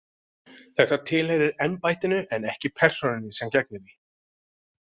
Það tilheyrir embættinu en ekki persónunni sem gegnir því.